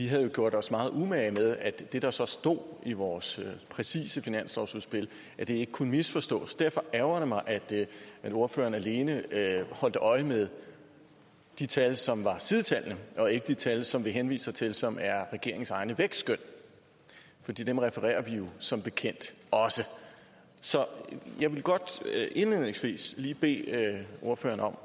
havde gjort os meget umage med at det der så stod i vores præcise finanslovsudspil ikke kunne misforstås derfor ærgrer det mig at ordføreren alene holdt øje med de tal som var sidetallene og ikke de tal som vi henviser til og som er regeringens egne vækstskøn for dem refererer vi jo som bekendt også så jeg vil godt indledningsvis lige bede ordføreren om